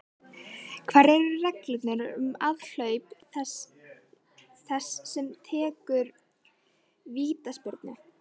Hverjar eru reglurnar um aðhlaup þess sem tekur vítaspyrnu?